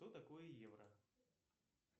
что такое евро